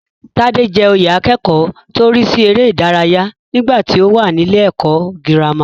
Tádé jẹ oyè akẹ́kọ̀ọ́ tó ń rísí eré ìdárayá nígbàtí ó wà nílé ẹ̀kọ́ gírámà.